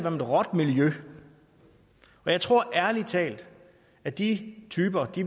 om et råt miljø og jeg tror ærlig talt at de typer